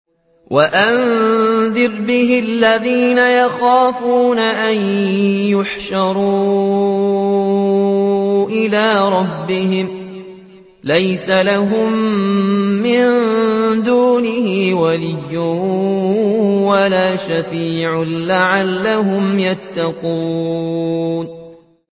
وَأَنذِرْ بِهِ الَّذِينَ يَخَافُونَ أَن يُحْشَرُوا إِلَىٰ رَبِّهِمْ ۙ لَيْسَ لَهُم مِّن دُونِهِ وَلِيٌّ وَلَا شَفِيعٌ لَّعَلَّهُمْ يَتَّقُونَ